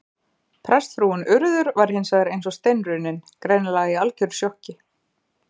Prestsfrúin Urður var hins vegar eins og steinrunnin, greinilega í algjöru sjokki.